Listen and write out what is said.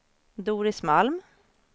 Doris Malm